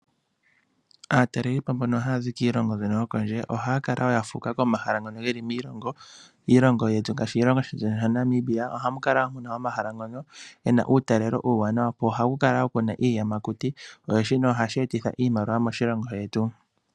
Aatalelipo mbono haya zi kiilongo mbyono yokondje ohaya kala wo yafuka komahala ngono geli miilongo yetu ngashi oshilongo shetu shaNamibia. Ohamu kala omahala ngono gena uutalelo uuwanawa nohaku kala kuna iiyamakuti nashino ohashi etitha iimaliwa moshilongo shetu.